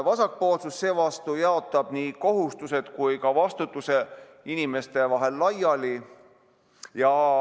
Vasakpoolsus seevastu jaotab nii kohustused kui ka vastutuse inimeste vahel laiali.